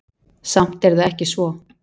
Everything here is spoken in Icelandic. Samt er það ekki svo.